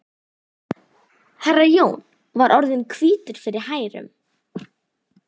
Herra Jón var orðinn hvítur fyrir hærum.